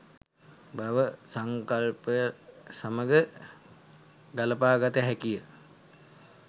භව සංකල්පය සමඟ ගළපා ගත හැකි ය.